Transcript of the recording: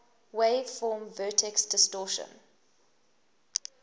wave form vertex distortion